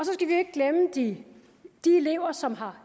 glemme de elever som har